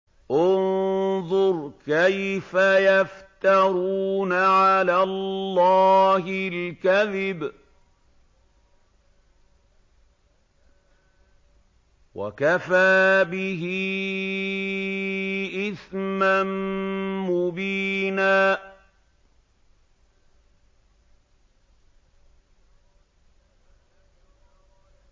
انظُرْ كَيْفَ يَفْتَرُونَ عَلَى اللَّهِ الْكَذِبَ ۖ وَكَفَىٰ بِهِ إِثْمًا مُّبِينًا